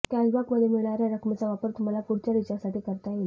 कॅशबॅकमध्ये मिळणाऱ्या रकमेचा वापर तुम्हाला पुढच्या रिचार्जसाठी करता येईल